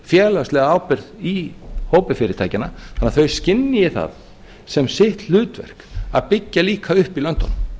félagslega ábyrgð í hópi fyrirtækjanna þannig að þau skynji það sem sitt hlutverk að byggja líka upp í löndunum